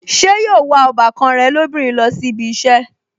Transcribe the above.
Ṣé yóò wa ọbàkan rẹ̀ lóbìnrin lọ sí ibi ìṣẹ́